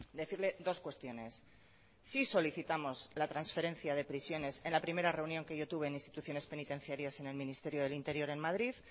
decirle dos cuestiones sí solicitamos la transferencia de prisiones en la primera reunión que yo tuve en instituciones penitenciarias en el ministerio del interior en madrid